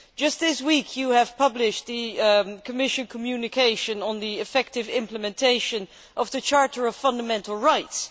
Just this week, you published the Commission communication on the effective implementation of the Charter of Fundamental Rights.